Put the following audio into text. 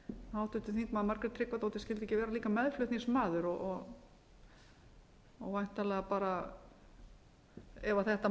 háttvirtir þingmenn margrét tryggvadóttir skyldi ekki vera líka meðflutningsmaður og væntanlega ef þetta